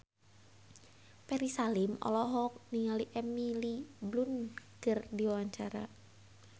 Ferry Salim olohok ningali Emily Blunt keur diwawancara